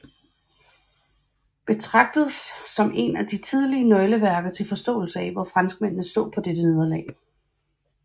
Betragtes som en af de tidlige nøgleværker til forståelse af hvor franskmændene så på dette nederlag